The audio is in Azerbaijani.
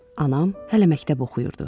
Anam hələ məktəb oxuyurdu.